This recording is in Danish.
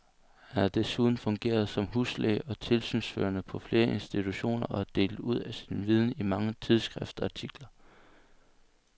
Han har desuden fungeret som huslæge og tilsynsførende på flere institutioner og delt ud af sin viden i mange tidsskriftsartikler.